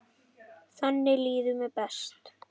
Þannig líður mér best.